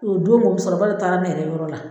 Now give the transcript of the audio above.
O donko muso kɔrɔba dɔ taara ne yɛrɛ yɔrɔ la.